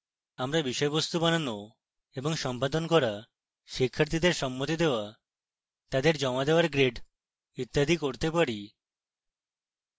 আমরা বিষয়বস্তু বানানো এবং সম্পাদনা করা শিক্ষার্থীদের সম্মতি দেওয়া তাদের জমা দেওয়ার grade ইত্যাদি করতে পারি